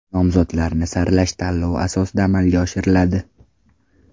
Nomzodlarni saralash tanlov asosida amalga oshiriladi.